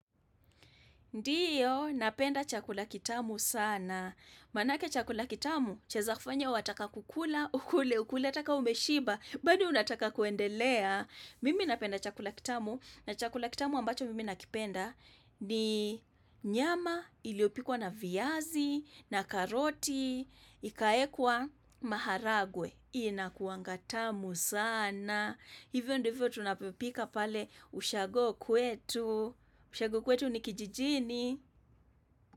Ndiyo, napenda chakula kitamu sana. Maanake chakula kitamu, chaweza kufanya wataka kukula, ukule, ukule, hata kama umeshiba, bado unataka kuendelea. Mimi napenda chakula kitamu, na chakula kitamu ambacho mimi nakipenda ni nyama iliyopikwa na viazi, na karoti, ikawekwa maharagwe. Inakuanga tamu sana. Na hivyo ndivyo tunavyopika pale ushago kwetu. Ushago kwetu ni kijijini.